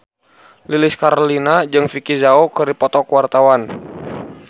Lilis Karlina jeung Vicki Zao keur dipoto ku wartawan